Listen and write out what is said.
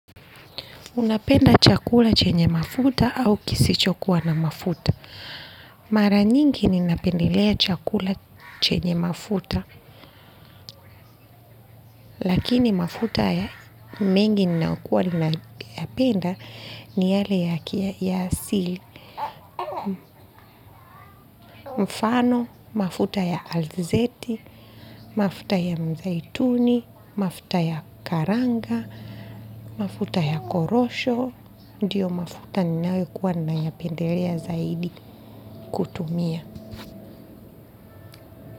Unapenda chakula chenye mafuta au kisichokuwa na mafuta. Mara nyingi ninapendelea chakula chenye mafuta. Lakini mafuta ya mengi ninaokuwa ninayapenda ni yale ya asili. Mfano, mafuta ya alzeti, mafuta ya mzaituni, mafuta ya karanga, mafuta ya korosho. Ndiyo mafuta ninayokuwa nayapendelea zaidi kutumia.